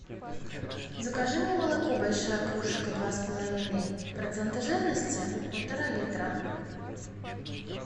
закажи мне молоко большая кружка два с половиной процента жирности полтора литра